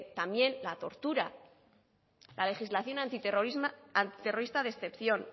también la tortura la legislación antiterrorista de excepción